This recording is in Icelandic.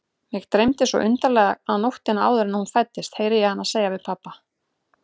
Mig dreymdi svo undarlega nóttina áður en hún fæddist, heyri ég hana segja við pabba.